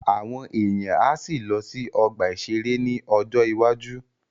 Àwọn èèyàn á sì lọ sí ọgbà-ìṣeré ní ọjọ́ iwájú